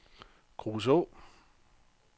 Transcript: Kruså